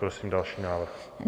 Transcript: Prosím další návrh.